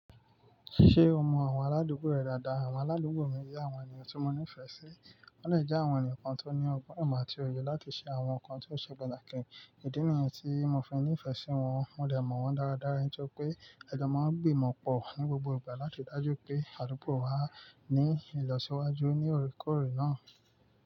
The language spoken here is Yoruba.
Ṣé o mọ àwọn aládùúgbò rẹ dáadáa? Àwọn aládùúgbò mi jẹ́ àwọn ènìyàn tí mo nífẹ̀ẹ́ sí. Wọ́n le jẹ́ àwọn ènìyàn kan tó ní ọgbọ́n ìmọ̀ àti òye láti ṣe àwọn nǹkan tó ṣe pàtàkì ìdí nìyẹn tí mo fi nífẹ̀ẹ́ sí wọn. Wọ́n de mọ̀ wọ́n dáradára, nítorí pé ajọ́ máa ń gbìmọ̀ pọ̀ ní gbogbo ìgbà láti ri dájú pé àdúgbò wa ní ìlọsíwájú ní oorekoọ̀re náà.